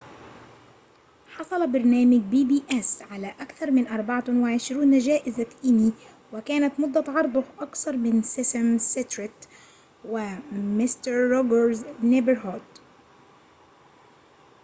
حصل برنامج بي بي إس على أكثر من 24 جائزة إيمي وكانت مدة عرضه أقصر من سيسم ستريت و"ومستر روجرز نيبرهود